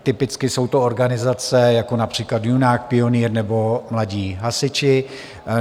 Typicky jsou to organizace jako například Junák, Pionýr nebo Mladí hasiči.